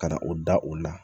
Ka na o da o la